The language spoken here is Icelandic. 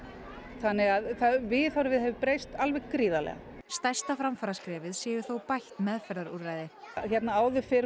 þannig að viðhorfið hefur breyst alveg gríðarlega stærsta framfaraskrefið séu þó bætt meðferðarúrræði hérna áður fyrr